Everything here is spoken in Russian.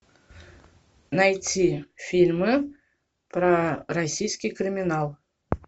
найти фильмы про российский криминал